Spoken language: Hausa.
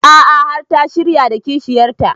A'a har ta shirya da kishiyar ta